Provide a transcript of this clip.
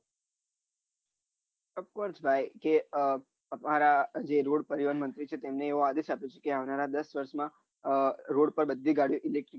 off course ભાઈ કે આહ અમારા જે રોડ પરિવાર મંત્રી છે તેઓ આજે સ્થાપિત થયા આવનારા દસ દસ માં રોડ માં બધી ગાડીઓ electric